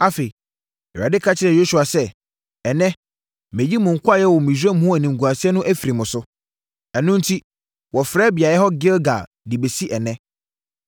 Afei, Awurade ka kyerɛɛ Yosua sɛ, “Ɛnnɛ mayi mo nkoayɛ wɔ Misraim ho animguaseɛ no afiri mo so.” Ɛno enti, wɔfrɛ beaeɛ hɔ Gilgal de bɛsi ɛnnɛ.